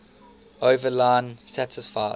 overline satisfies